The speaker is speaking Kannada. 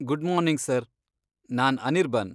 ಗುಡ್ ಮಾರ್ನಿಂಗ್ ಸರ್, ನಾನ್ ಅನಿರ್ಬನ್.